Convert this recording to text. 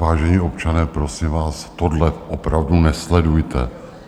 Vážení občané, prosím vás, tohle opravdu nesledujte.